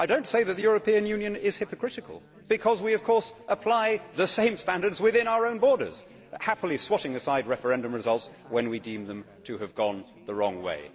I do not say that the European Union is hypocritical because, of course, we apply the same standards within our own borders, happily swatting aside referendum results when we deem them to have gone the wrong way.